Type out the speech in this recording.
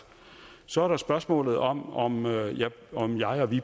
så er der spørgsmålet om om om jeg og vi i